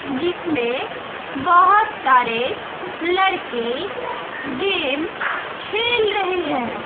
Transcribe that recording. जिसमें बहोत सारे लड़के गेम खेल रहे है।